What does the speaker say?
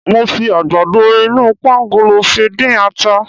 Mo fi àgbàdo inú pangolo fi dín ata.